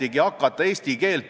Istungi juhataja mõtleb koguni edasi.